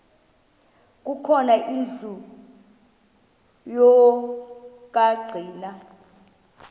khona indlu yokagcina